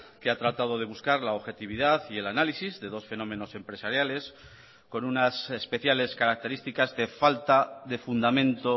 que ha tratado de buscar la objetividad y el análisis de dos fenómenos empresariales con unas especiales características de falta de fundamento